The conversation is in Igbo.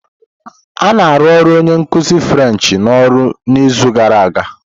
A na-arụ onye nkuzi French n'ọrụ n'izu gara aga?